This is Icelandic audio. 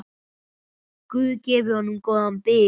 Guð gefi honum góðan byr.